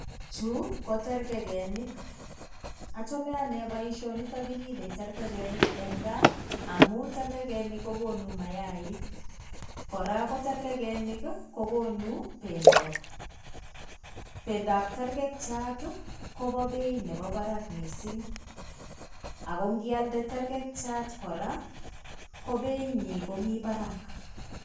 Chu ko terkekenik ochome ane boisioniton kiripe terkekenik en gaa amun terkekenik ko konu mayaik kora ko terkekenik kokonu pendo. Pendab terkekiat ii kobo beit nebo barak missing' ago kialde terkekiat kora ko beinyin komi barak.